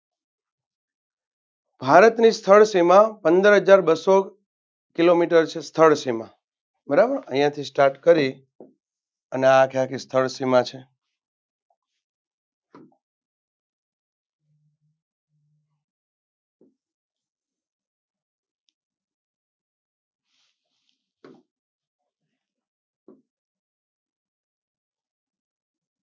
ભારતની થળસીમા પંદરહજાર બસ્સો કિલોમિટર થળ સીમા બરાબર અહીંયાથી start કરી અને આ જ્યાંથી થળ સીમા છે.